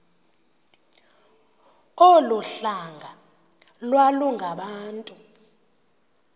olu hlanga iwalungabantu